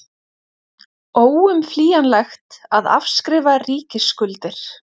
Óumflýjanlegt að afskrifa ríkisskuldir